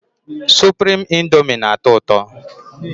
Suprime índomi na- atọ ụtọ